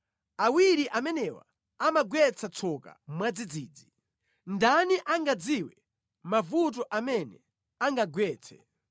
awiri amenewa amagwetsa tsoka mwadzidzidzi. Ndani angadziwe mavuto amene angagwetse?